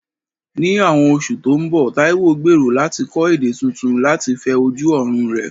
Ní àwọn oṣù tó ń bọ̀, Taiwo gbèrò láti kọ́ èdè tuntun láti fẹ ojú ọ̀run rẹ̀.